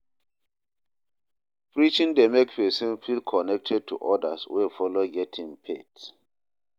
Preaching dey mek pesin feel connected to odas wey follow get im faith.